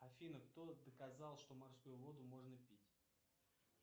афина кто доказал что морскую воду можно пить